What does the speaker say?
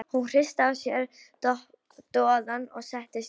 Hún hristi af sér doðann og settist upp.